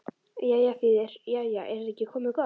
Jæja þýðir: Jæja, er þetta ekki komið gott?